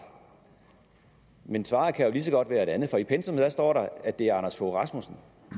men svaret kan jo lige så godt være et andet for i pensummet står der at det er anders fogh rasmussen